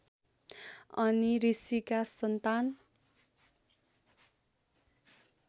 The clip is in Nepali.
अत्रि ऋषिका सन्तान